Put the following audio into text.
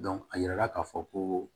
a yirala k'a fɔ ko